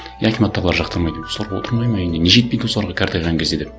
и акиматтағылар жақтырмайды осылар отырмайды ма үйінде не жетпейді осыларға қартайған кезде деп